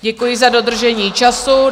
Děkuji za dodržení času.